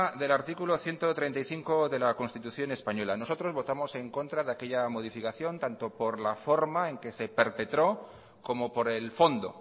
del artículo ciento treinta y cinco de la constitución española nosotros votamos en contra de aquella modificación tanto por la forma en que se perpetró como por el fondo